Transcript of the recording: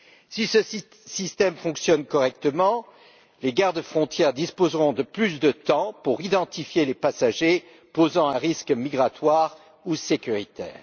Si ce système fonctionne correctement, les gardes frontières disposeront de plus de temps pour identifier les passagers posant un risque migratoire ou sécuritaire.